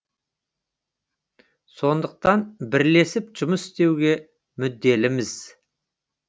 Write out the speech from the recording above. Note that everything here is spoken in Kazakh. сондықтан бірлесіп жұмыс істеуге мүдделіміз